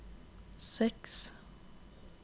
seks